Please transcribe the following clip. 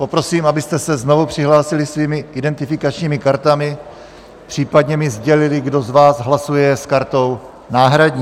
Poprosím, abyste se znovu přihlásili svými identifikačními kartami, případně mi sdělili, kdo z vás hlasuje s kartou náhradní.